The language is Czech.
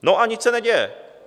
No a nic se neděje.